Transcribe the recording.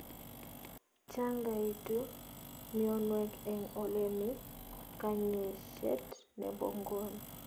Changaitu mionwek eng ole mi kanyaiset nebo ngony